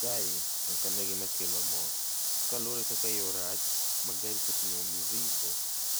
Kae, okane gimakelo mor, kaluore gi kaka yoo marach ma gari otingo mzigo